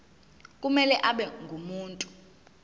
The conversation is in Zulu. kumele abe ngumuntu